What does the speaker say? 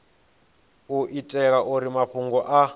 u itela uri mafhungo a